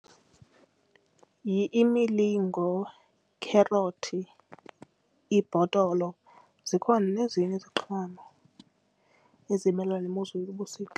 Yi-imilingo, kherothi, ibhotolo, zikhona nezinye iziqhamo ezimelena nemozulu yobusika.